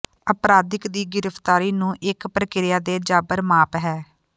ਅਪਰਾਧਿਕ ਦੀ ਗ੍ਰਿਫਤਾਰੀ ਨੂੰ ਇਕ ਪ੍ਰਕ੍ਰਿਆ ਦੇ ਜਾਬਰ ਮਾਪ ਹੈ